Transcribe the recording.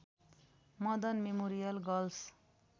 Madan memorial girls